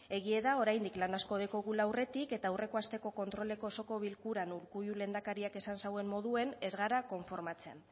egia da oraindik lan asko dugula aurretik eta aurreko asteko kontroleko osoko bilkuran urkullu lehendakariak esan zuen moduan ez gara konformatzen